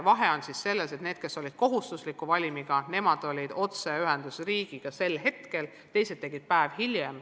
Vahe on selles, et need, kes olid kohustuslikus valimis, olid riigiga sel hetkel otseühenduses, teised tegid tasemetöö päev hiljem.